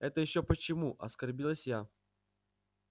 это ещё почему оскорбилась я